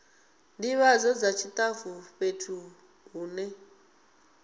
ndivhadzo dza tshitafu fhethu hune